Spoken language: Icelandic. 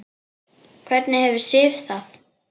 Hvernig hefur Sif það?